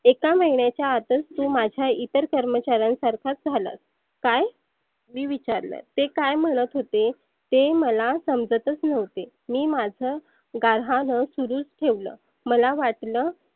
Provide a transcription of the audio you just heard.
एका महिण्याच्या आतच तु माझ्या इतर कर्मचाऱ्यांन सारखाच झालास. काय? मी विचारल ते काय म्हणत होते ते मला समजतच नव्हते. मी माझ गह्रान सुरुच ठेवलं. मला वाटल